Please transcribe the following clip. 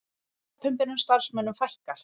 Opinberum starfsmönnum fækkar